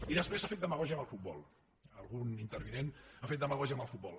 i després s’ha fet demagògia amb el futbol algun intervinent ha fet demagògia amb el futbol